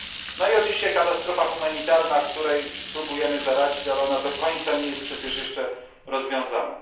No i oczywiście katastrofa humanitarna, której próbujemy zaradzić, ale ona do końca nie jest przecież jeszcze rozwiązana.